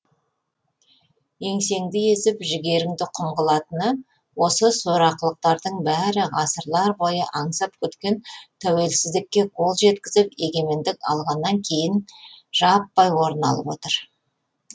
еңсеңді езіп жігеріңді құм қылатыны осы сорақылықтардың бәрі ғасырлар бойы аңсап күткен тәуелсіздікке қол жеткізіп егемендік алғаннан кейін жаппай орын алып отыр